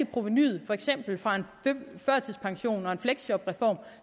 provenuet for eksempel fra en førtidspensions og en fleksjobreform